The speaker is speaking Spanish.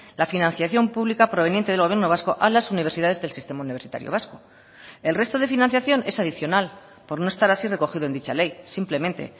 la financiación pública proveniente del gobierno vasco a las universidades del sistema universitario vasco el resto de financiación es adicional por no estar así recogido en dicha ley simplemente